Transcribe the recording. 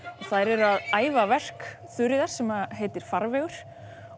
þær eru að æfa verk Þuríðar sem heitir farvegur